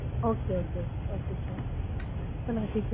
okay okay okay sir சொல்லுங்க.